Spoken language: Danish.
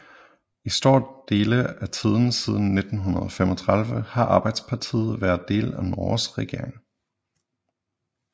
I store dele af tiden siden 1935 har Arbeiderpartiet været del af Norges regering